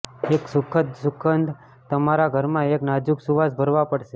એક સુખદ સુગંધ તમારા ઘરમાં એક નાજુક સુવાસ ભરવા પડશે